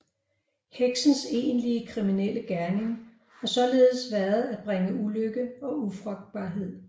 Heksens egentlige kriminelle gerning har således været at bringe ulykke og ufrugtbarhed